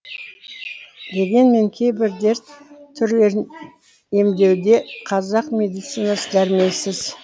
дегенмен кейбір дерт түрлерін емдеуде қазақ медицинасы дәрменсіз